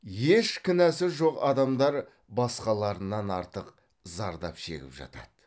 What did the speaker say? еш кінәсі жоқ адамдар басқаларынан артық зардап шегіп жатады